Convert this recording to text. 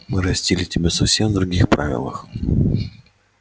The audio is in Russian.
мы растили тебя совсем в других правилах